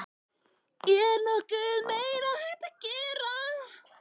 Er nokkuð meira hægt að gera?